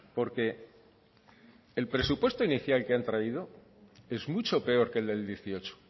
porque el presupuesto inicial que han traído es mucho peor que el del dieciocho